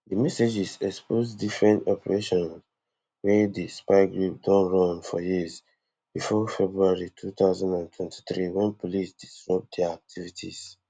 di messages expose different operations wey di spy group don run for years bifor february two thousand and twenty-three wen police disrupt dia activities